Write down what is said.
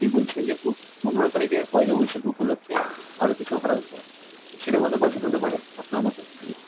বলছেন যে পো~ পনেরো তারিখে পয়লা বৈশাখ উপলক্ষে আরো কিছু offer আসবে, সেটা কত percent হতে পারে আপনার মতে?